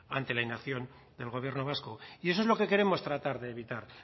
ante la inacción del gobierno vasco y eso es lo que queremos tratar